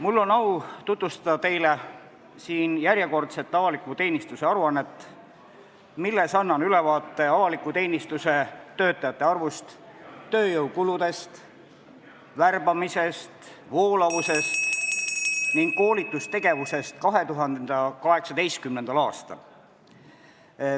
Mul on au tutvustada teile järjekordset avaliku teenistuse aruannet, milles annan ülevaate avaliku teenistuse töötajate arvust, tööjõukuludest, tööjõu värbamisest ja voolavusest ning koolitustegevusest 2018. aastal.